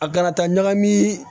A kana taa ɲagami